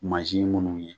Mansin minnu ye